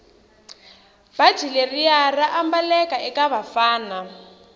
bhatji leriya raambaleka ekavafana